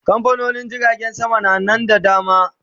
Kamfanonin jiragen sama na Nan da dama